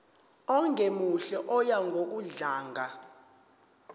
ongemuhle oya ngokudlanga